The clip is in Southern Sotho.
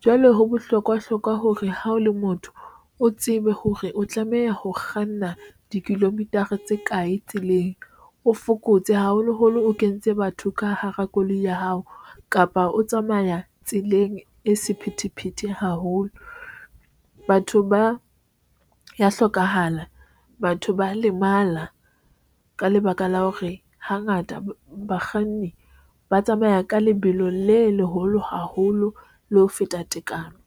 Jwale ho bohlokwa hore ha o le motho, o tsebe hore o tlameha ho kganna di kilometer a tse kae tseleng o fokotse haholoholo o kentse batho ka hara koloi ya hao, kapa o tsamaya tseleng e sephethephethe haholo. Batho ba ya hlokahala, batho ba lemala ka lebaka la hore hangata bakganni ba tsamaya ka lebelo le leholo haholo le ho feta tekano.